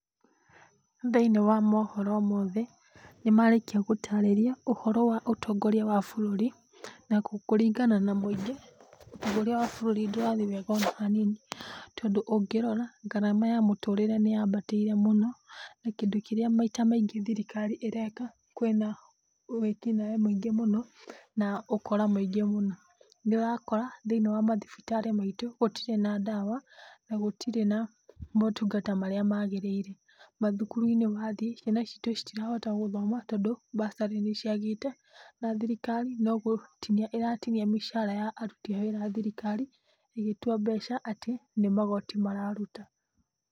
Thĩiniĩ wa mohoro mothe nĩmarĩkia gũtarĩria ũhoro wa ũtongoria wa bũrũri na kũringana na mũingĩ ũrĩa bũrũri ndĩrathiĩ wega ona hanini, tondũ ũngĩrora gharama ya mũtũrĩre nĩ ya mbatĩire mũno, na kĩndũ kĩrĩa maita maingĩ thirikari ĩreka kwĩna wĩkinaĩ mũno na ũkora mũingĩ mũno, nĩ ũrakora thĩiniĩ wa mathibitarĩ maitũ gũtirĩ na ndawa na gũtirĩ na motungata marĩa magĩrĩire, mathukuru-inĩ wathiĩ ciana citũ citirahota gũthoma, tondũ bursary nĩ ciagĩte na thirikari no gũtinia ĩratinia mĩcara ya aruti a wĩra a thirikari ĩgĩtua mbeca atĩ nĩ magoti mararuta.